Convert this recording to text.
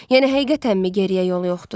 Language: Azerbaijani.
Yəni həqiqətənmi geriyə yol yoxdur?